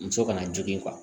Muso kana jigi